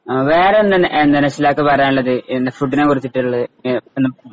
വേറെ എന്തുണ്ട് എന്താണ് നശ്വലക്കു പറയാനുള്ളത് ഫുഡിനെ കുറിച്ചിട്ടുള് അഹ്